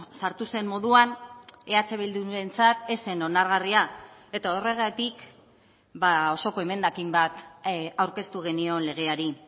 sartu zen moduan eh bildurentzat ez zen onargarria eta horregatik osoko emendakin bat aurkeztu genion legeari